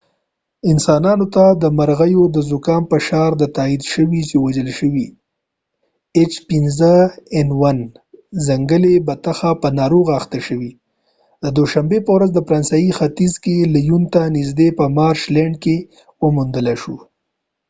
انسانانو ته د مرغیو د زکام فشار د h5n1، تاييد شوې چې وژل شوی ځنګلي بطخه په ناروغۍ اخته شوې، د دوشنبې په ورځ، د فرانسې په ختیځ کې لیون ته نږدې په مارش لینډ کې وموندل شو